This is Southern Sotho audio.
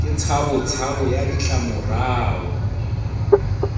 ke tshabo tshabo ya ditlamorao